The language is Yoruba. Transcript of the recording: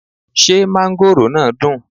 Ṣé mángóròò náà dùn?